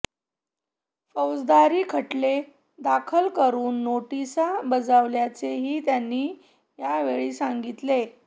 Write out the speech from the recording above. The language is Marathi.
फौजदारी खटले दाखल करुन नोटीसा बजावल्याचेही त्यांनी यावेळी सांगितले